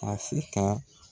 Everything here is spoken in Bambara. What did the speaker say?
Afirika